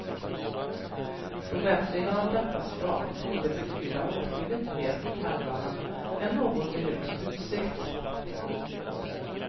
Förbättringar av detta slag torde betyda åtskilligt mer för pendlarna än någon minuts utsikt.